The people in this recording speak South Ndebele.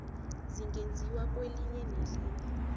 zingenziwa kwelinye nelinye